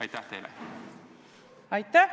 Aitäh!